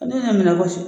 Ne minɛ kɔsɔ